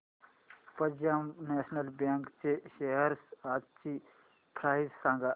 Punjab National Bank च्या shares आजची price सांगा